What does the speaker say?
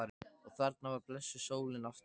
Og þarna var blessuð sólin aftur.